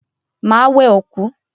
Máa wẹ òkú.